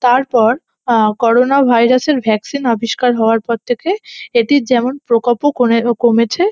তারপর আহ corona virus এর ভ্যাকসিন আবিষ্কার হওয়ার পর থেকে এটির যেমন প্রকোপ ও কনে কমেছে।